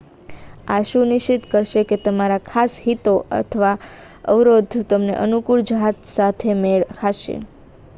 આ સુનિશ્ચિત કરશે કે તમારા ખાસ હિતો અને/અથવા અવરોધો તેમને અનુકૂળ જહાજ સાથે મેળ ખાશે